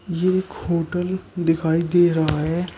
ये एक होटल दिखाई दे रहा है।